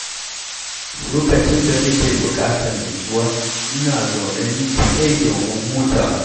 Lokacin da nake bukatar nutsuwa, ina zaune ni kaɗai domin hutawa.